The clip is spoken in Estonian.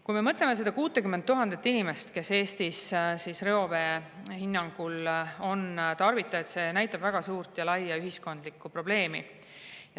Kui me mõtleme 60 000 inimesele, kes Eestis reovee on tarvitajad, siis see näitab väga suurt ja laia ühiskondlikku probleemi.